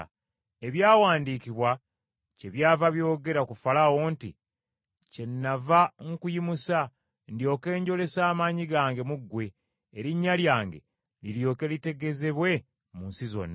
Ebyawandiikibwa kyebyava byogera ku Falaawo nti, “Kyennava nkuyimusa, ndyoke njolese amaanyi gange mu ggwe, erinnya lyange liryoke litegeezebwe mu nsi zonna.”